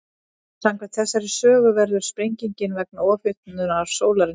Samkvæmt þessari sögu verður sprengingin vegna ofhitnunar sólarinnar.